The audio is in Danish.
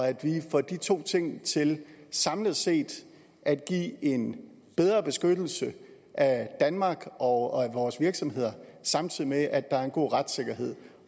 at vi får de to ting til samlet set at give en bedre beskyttelse af danmark og vores virksomheder samtidig med at der er en god retssikkerhed